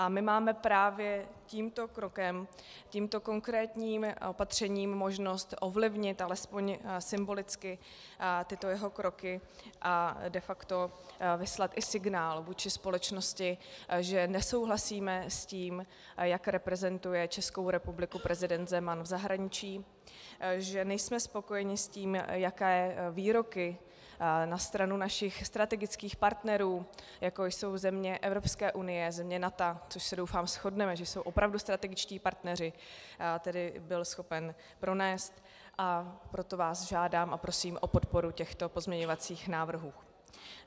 A my máme právě tímto krokem, tímto konkrétním opatřením možnost ovlivnit alespoň symbolicky tyto jeho kroky a de facto vyslat i signál vůči společnosti, že nesouhlasíme s tím, jak reprezentuje Českou republiku prezident Zeman v zahraničí, že nejsme spokojeni s tím, jaké výroky na stranu našich strategických partnerů, jako jsou země Evropské unie, země NATO, což se, doufám, shodneme, že jsou opravdu strategičtí partneři, tedy byl schopen pronést, a proto vás žádám a prosím o podporu těchto pozměňovacích návrhů.